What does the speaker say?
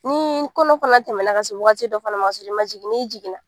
Ni kɔnɔ fana tɛmɛna ka se wagati dɔ fana ma k'a sɔrɔ i man jigin n'i jiginna